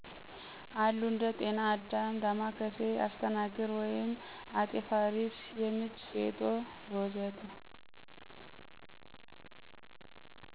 አሉ እንደ ጤና አዳም፣ ዳማከሴ፣ አስተናግር ( አጤ ፋሪስ )፣ የምች፣ ፌጦ፣ ወ.ዘ.ተ...